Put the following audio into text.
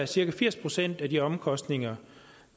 cirka firs procent af de omkostninger